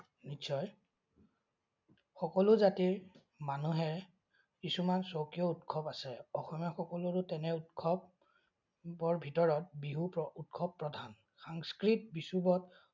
নিশ্চয়। সকলো জাতিৰ মানুহে কিছুমান স্বকীয় উৎসৱ আছে। অসমীয়া সকলৰো তেনে উৎসৱৰ ভিতৰত বিহু উৎসৱ প্ৰধান। সাংস্কৃত বিষুৱত